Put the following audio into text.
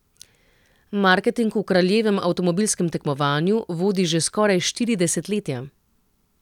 Marketing v kraljevem avtomobilskem tekmovanju vodi že skoraj štiri desetletja.